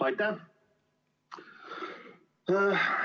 Aitäh!